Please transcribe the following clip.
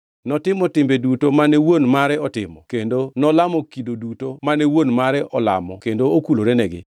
Ne otimo timbe duto mane wuon mare otimo, kendo nolamo kido duto mane wuon mare olamo kendo okulorenegi.